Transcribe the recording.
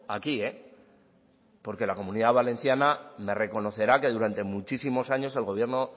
aquí porque la comunidad valenciana me reconocerá que durante muchísimos años el gobierno